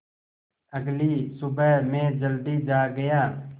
अगली सुबह मैं जल्दी जाग गया